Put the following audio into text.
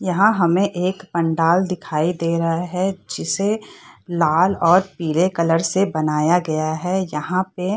यहाँ हमें एक पंडाल दिखाई दे रहा हैं जिसे लाल और पीले कलर से बनाया गया हैं। यहाँ पे --